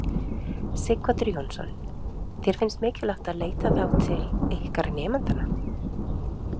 Sighvatur Jónsson: Þér finnst mikilvægt að leita þá til ykkar nemendanna?